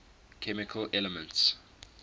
chemical elements